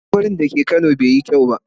Tsohon wurin da ke kano bai yi kyau ba.